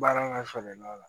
Baara ka surun ɲɔgɔn na